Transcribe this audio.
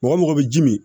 Mɔgɔ mɔgɔ bɛ ji min